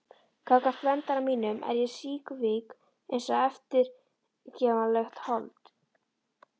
Gagnvart verndara mínum er ég síkvik einsog eftirgefanlegt hold.